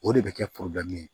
O de bɛ kɛ ye